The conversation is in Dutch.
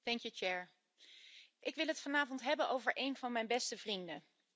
Voorzitter, ik wil het vanavond hebben over een van mijn beste vrienden.